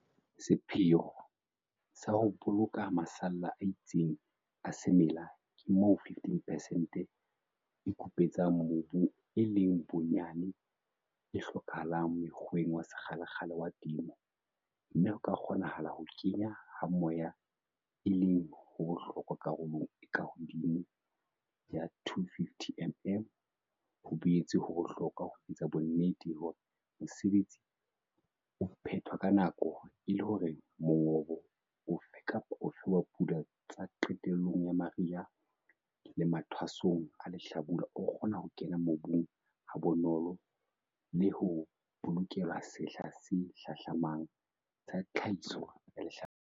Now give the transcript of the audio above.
Sepheo sa ho boloka masalla a itseng a semela ke moo 15 percent e kupetsang mobu e leng bonyane e hlokahalang mokgweng wa sekgalekgale wa temo, mme ho ka kgonahala ho kena ha moya e leng ho bohlokwa karolong e ka hodimo ya 250 mm. Ho boetse ho bohlokwa ho etsa bonnete hore mosebetsi o phethwa ka nako e le hore mongobo ofe kapa ofe wa pula tsa qetellong ya mariha le mathwasong a lehlabula o kgona ho kena mobung ha bonolo le ho bolokelwa sehla se hlahlamang sa tlhahiso ya lehlabula.